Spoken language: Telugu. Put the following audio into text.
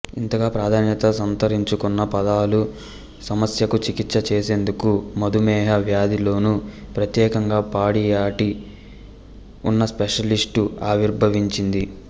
ఇంతగా ప్రాధాన్యత సంతరించుకున్న పాదాల సమస్యకు చికిత్స చేసేందుకు మధుమేహ వ్యాధిలోనే ప్రత్యేకంగా పొడియాట్రి అన్న స్పెషాలిటీ ఆవిర్భవించింది